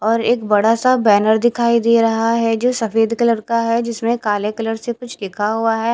और एक बड़ा सा बेनर दिखाई देरा हे जो सफ़ेद कलर का हे जिसमे काले कलर से कुछ लिखा हुआ हैं।